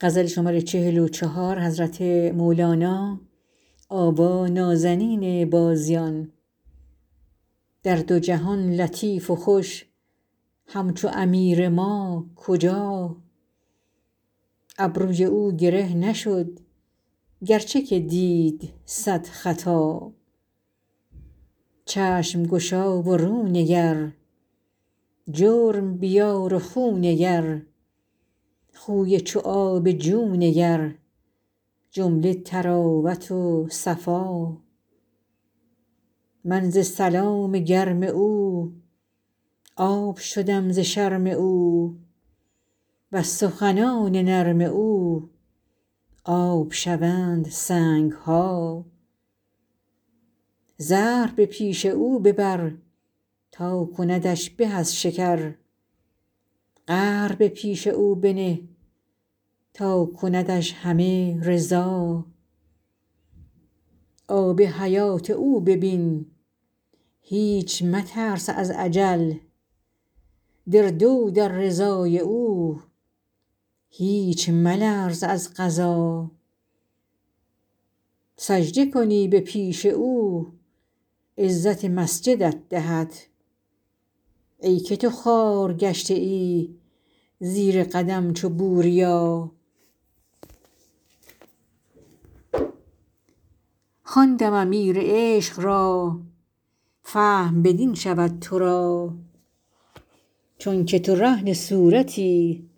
در دو جهان لطیف و خوش همچو امیر ما کجا ابروی او گره نشد گرچه که دید صد خطا چشم گشا و رو نگر جرم بیار و خو نگر خوی چو آب جو نگر جمله طراوت و صفا من ز سلام گرم او آب شدم ز شرم او وز سخنان نرم او آب شوند سنگ ها زهر به پیش او ببر تا کندش به از شکر قهر به پیش او بنه تا کندش همه رضا آب حیات او ببین هیچ مترس از اجل در دو در رضای او هیچ ملرز از قضا سجده کنی به پیش او عزت مسجدت دهد ای که تو خوار گشته ای زیر قدم چو بوریا خواندم امیر عشق را فهم بدین شود تو را چونک تو رهن صورتی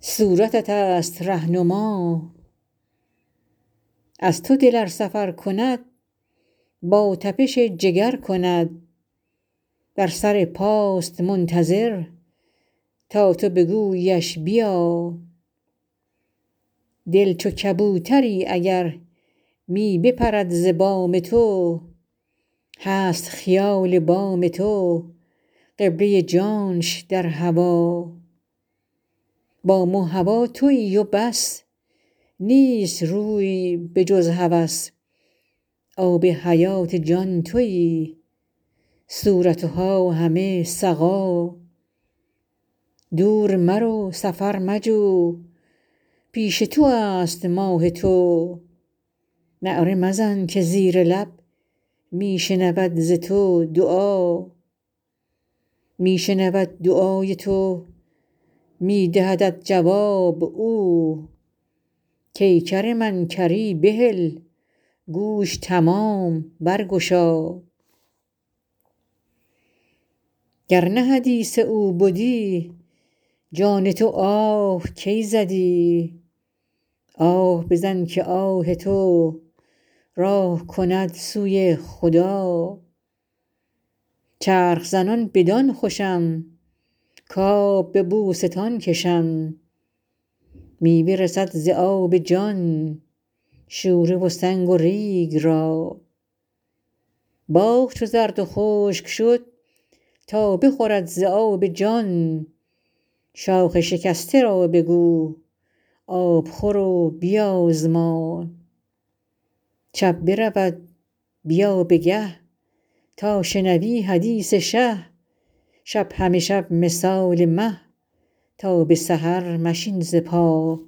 صورت توست ره نما از تو دل ار سفر کند با تپش جگر کند بر سر پاست منتظر تا تو بگوییش بیا دل چو کبوتری اگر می بپرد ز بام تو هست خیال بام تو قبله جانش در هوا بام و هوا توی و بس نیست روی بجز هوس آب حیات جان توی صورت ها همه سقا دور مرو سفر مجو پیش تو است ماه تو نعره مزن که زیر لب می شنود ز تو دعا می شنود دعای تو می دهدت جواب او کای کر من کری بهل گوش تمام برگشا گر نه حدیث او بدی جان تو آه کی زدی آه بزن که آه تو راه کند سوی خدا چرخ زنان بدان خوشم کآب به بوستان کشم میوه رسد ز آب جان شوره و سنگ و ریگ را باغ چو زرد و خشک شد تا بخورد ز آب جان شاخ شکسته را بگو آب خور و بیازما شب برود بیا به گه تا شنوی حدیث شه شب همه شب مثال مه تا به سحر مشین ز پا